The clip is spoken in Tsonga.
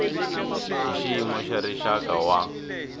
hi xiyimo xa rixaka wa